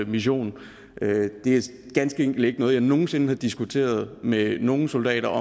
mission det er ganske enkelt ikke noget jeg nogen sinde har diskuteret med nogen soldater